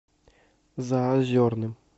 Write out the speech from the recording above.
заозерным